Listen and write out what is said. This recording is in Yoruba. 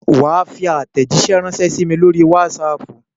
Wà á fi àtèjíṣẹ́ rànṣẹ́ sí mi ní orí Wásaapù